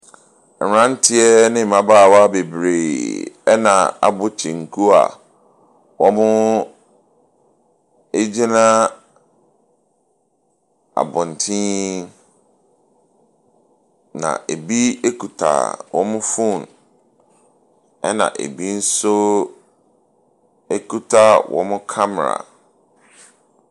Mmranteɛ ne mmabaawa bebree na abɔ kyenku a wɔgyinagyina abɔnten na ebi kuta wɔn phone. Na ebi nso ekita wɔn kamara.